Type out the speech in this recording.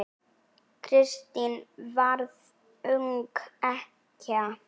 Kristín varð ung ekkja.